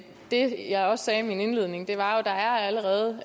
det jeg også sagde i min indledning var jo at der allerede